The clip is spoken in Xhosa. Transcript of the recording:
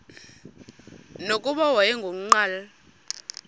nokuba wayengu nqal